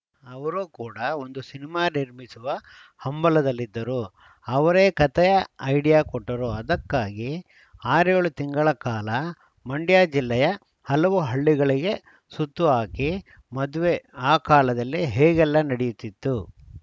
ಅವರು ಕೂಡ ಒಂದು ಸಿನಿಮಾ ನಿರ್ಮಿಸುವ ಹಂಬಲದಲ್ಲಿದ್ದರು ಅವರೇ ಕತೆಯ ಐಡಿಯಾ ಕೊಟ್ಟರು ಅದಕ್ಕಾಗಿ ಆರೇಳು ತಿಂಗಳ ಕಾಲ ಮಂಡ್ಯ ಜಿಲ್ಲೆಯ ಹಲವು ಹಳ್ಳಿಗಳಿಗೆ ಸುತ್ತು ಹಾಕಿ ಮದ್ವೆ ಆ ಕಾಲದಲ್ಲಿ ಹೇಗೆಲ್ಲ ನಡೆಯುತ್ತಿತ್ತು